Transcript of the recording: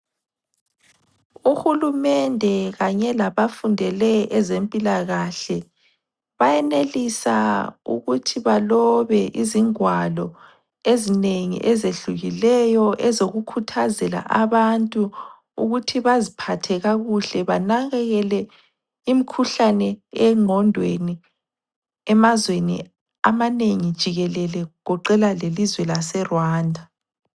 Uhulumende kanye labafundele ezempilakahle bayenelisa ukuthi balobe izingwalo ezinengi ezehlukileyo ezokukhuthazela abantu ukuthi baziphathe kakuhle banakekele imikhuhlane engqondweni emazweni amanengi jikelele kugoqela lelizwe laseRwanda